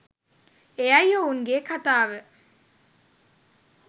එයයි ඔවුන්ගේ කතාව